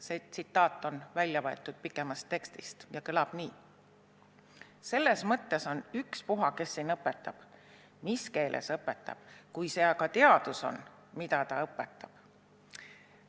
See tsitaat on võetud pikemast tekstist ja kõlab nii: "Selles mõttes on ükspuha, kes siin õpetab, mis keeles õpetab, kui see aga teadus on, mida ta õpetab.